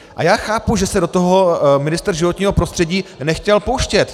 A já chápu, že se do toho ministr životního prostředí nechtěl pouštět.